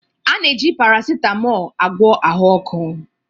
A na-eji paracetamol agwọ ahụ ọkụ